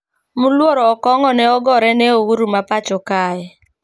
Mluoro okong`o ne ogore ne ouru ma pacho kae